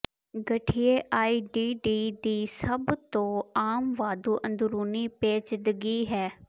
ਗਠੀਏ ਆਈਡੀਡੀ ਦੀ ਸਭ ਤੋਂ ਆਮ ਵਾਧੂ ਅੰਦਰੂਨੀ ਪੇਚੀਦਗੀ ਹੈ